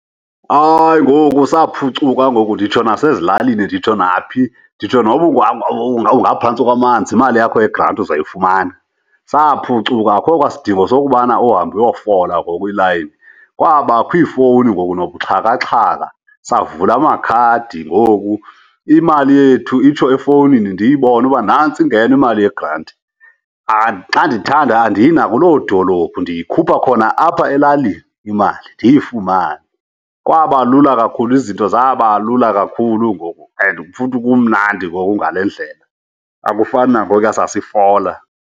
Hayi, ngoku saphucuka ngoku nditsho nasezilalini, nditsho naphi. Nditsho noba ungangaphantsi kwamanzi imali yakho yegranti uzawuyifumana. Saphucuka akho kwasidingo sokubana uhambe uyofola ngoku kwiilayini. Kwabakho iifowuni ngoku nobuxhakaxhaka, savula amakhadi ngoku. Imali yethu itsho efowunini ndiyibone uba nantsi ingeno imali yegranti. Xa ndithanda andiyi nakuloo dolophu, ndiyikhupha khona apha elalini imali ndiyifumane. Kwaba lula kakhulu, izinto zaba lula kakhulu ngoku and futhi kumnandi ngoku ngale ndlela, akufani nangokuya sasifola.